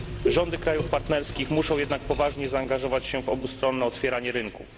Rządy krajów partnerskich muszą jednak poważnie zaangażować się w obustronne otwieranie rynków.